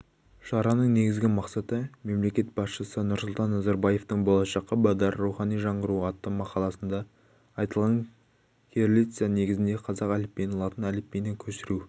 шараның негізгі мақсаты мемлекет басшысы нұрсұлтан назарбаевтың болашаққа бағдар рухани жаңғыру атты мақаласында айтылған кириллица негізіндегі қазақ әліпбиін латын әліпбиіне көшіру